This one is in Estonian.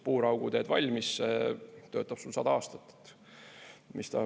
Puuraugu teed valmis, töötab sul 100 aasta.